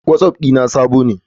My whatsapp ne updated version.